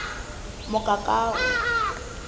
mokakawe